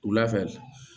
Wulafɛ